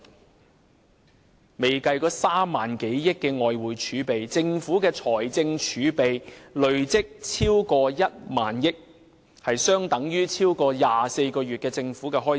還未計及3萬多億元外匯儲備，政府的財政儲備累積已逾1萬億元，即相當於超過24個月的政府開支。